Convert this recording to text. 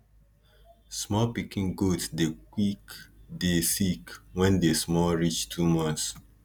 small pikin goat dey quick dey sick wen dey small reach 2months